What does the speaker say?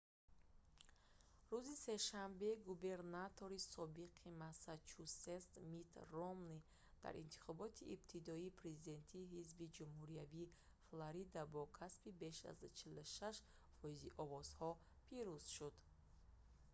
рӯзи сешанбе губернатори собиқи массачусетс митт ромнӣ дар интихоботи ибтидоии президентии ҳизби ҷумҳуриявии флорида бо касби беш аз 46 фоизи овозҳо пирӯз шуд